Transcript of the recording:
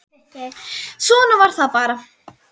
Svona var það bara.